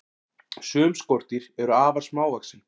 Sum skordýr eru afar smávaxin.